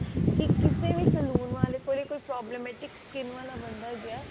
ਤੇ ਕਿਸੇ ਵੀ salon ਵਾਲੇ ਕੋਲੇ ਕੋਈ skin ਵਾਲਾ ਬੰਦਾ ਜਿਹੜਾ